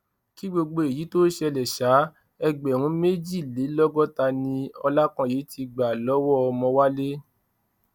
kí gbogbo èyí tóo ṣẹlẹ sá ẹgbẹrún méjìlélọgọta ni ọlákanye ti gbà lọwọ ọmọwálẹ